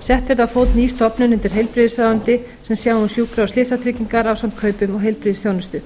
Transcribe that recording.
sett verði á fót ný stofnun undir heilbrigðisráðuneyti sem sjái um sjúkra og slysatryggingar ásamt kaupum á heilbrigðisþjónustu